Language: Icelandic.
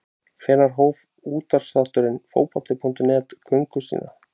Hvenær hóf útvarpsþátturinn Fótbolti.net göngu sína?